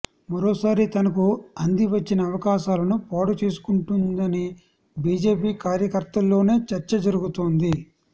మరోసారి తనకు అంది వచ్చిన అవకాశాలను పాడుచేసుకుంటోందని బీజేపీ కార్యకర్తల్లోనే చర్చ జరుగుతోంది